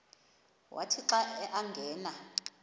wathi xa angena